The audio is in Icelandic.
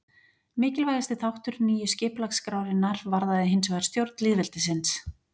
Mikilvægasti þáttur nýju skipulagsskrárinnar varðaði hinsvegar stjórn lýðveldisins.